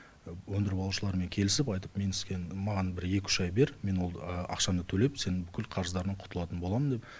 өндіріп алушылармен келісіп айтып мен маған бір екі үш ай бер мен ол ақшаны төлеп сенің бүкіл қарыздарыңнан құтылатын боламын деп